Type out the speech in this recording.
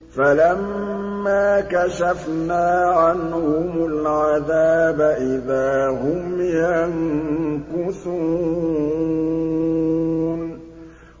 فَلَمَّا كَشَفْنَا عَنْهُمُ الْعَذَابَ إِذَا هُمْ يَنكُثُونَ